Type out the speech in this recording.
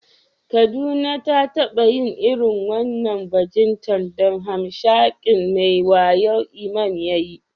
Kaduna ta taba yin irin wannan bajintar da hamshakin mai wayo Imam ya yi.